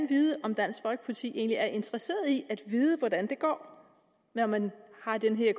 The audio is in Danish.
vide om dansk folkeparti egentlig er interesseret i at vide hvordan det går når man har den her